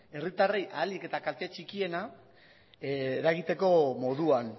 herritarrei ahalik eta kalte txikiena eragiteko moduan